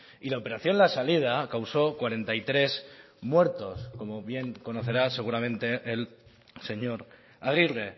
y la operación la salida causó cuarenta y tres muertos como bien conocerá seguramente el señor aguirre